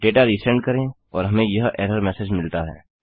data resend करें और हमें यह एरर मेसेज मिलता है